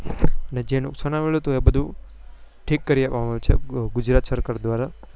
અને જે નુકસાન આવેલું હતું એ બધું ઠીક કરી આપવા માં આવ્યું છે ગુજરાત સરકાર દ્વારા